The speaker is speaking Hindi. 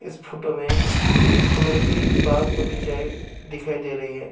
इस फोटो में फुलो कि बाग बगीचाए दिखाई दे रही है।